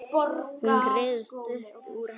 Hún ryðst upp úr henni.